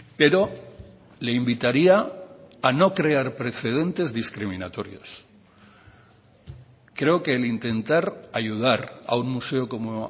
pero le invitaría a no crear precedentes discriminatorios creo que el intentar ayudar a un museo como